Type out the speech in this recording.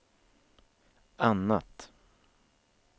annat